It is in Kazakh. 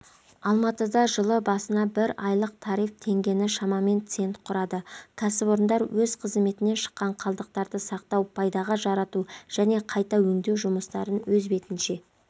алматыда жылыд басына бір айлық тариф теңгені шамамен цент құрады кәсіпорындар өз қызметінен шыққан қалдықтарды сақтау пайдаға жарату және қайта өңдеу жұмыстарын өз бетінше